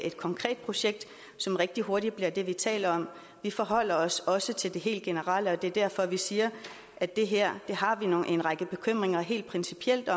et konkret projekt som rigtig hurtigt bliver det vi taler om vi forholder os også til det helt generelle og det er derfor vi siger at det her har vi nogle helt principielle